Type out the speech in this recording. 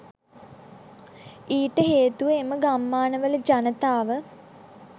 ඊට හේතුව එම ගම්මානවල ජනතාව